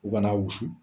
U kana wusu